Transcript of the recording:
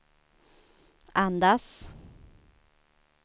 andas